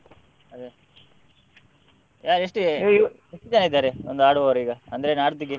ಅದೇ ಎ~ ಎಷ್ಟು ಜನ ಇದ್ದಾರೆ ಅಂದ್ರೆ ಆಡುವರು ಈಗ ಅಂದ್ರೆ ನಾಡ್ದಿಗೆ?